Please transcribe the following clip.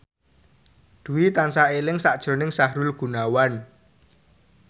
Dwi tansah eling sakjroning Sahrul Gunawan